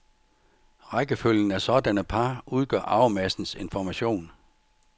Rækkefølgen af sådanne par udgør arvemassens information.